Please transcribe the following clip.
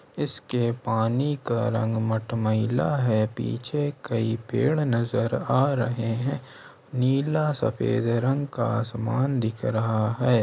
इसके पानी का रंग मटमेला है पीछे कई पेड़ नजर आ रहें हैं नीला सफेद रंग का आसमान दिख रहा है।